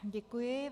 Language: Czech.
Děkuji.